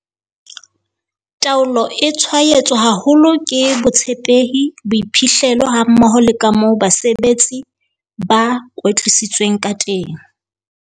Taolo e tshwaetswa haholo ke botshepehi, boiphihlelo hammoho le ka moo basebeletsi ba kwetlisitsweng ka teng.